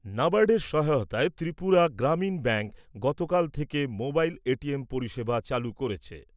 ন্যাবার্ডের সহায়তায় ত্রিপুরা গ্রামীণ ব্যাঙ্ক গতকাল থেকে মোবাইল এটিএম পরিষেবা চালু করেছে।